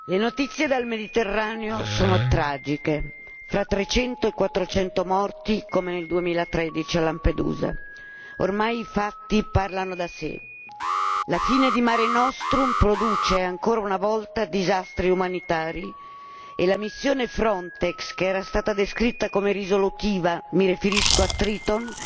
Signora Presidente, onorevoli colleghi, le notizie dal Mediterraneo sono tragiche fra 300 e 400 morti come nel 2013 a Lampedusa. Ormai i fatti parlano da sé. La fine di Mare Nostrum produce ancora una volta disastri umanitari e la missione Frontex, che era stata descritta come risolutiva, mi riferisco a Triton,